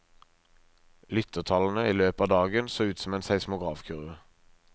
Lyttertallene i løpet av dagen så ut som en seismografkurve.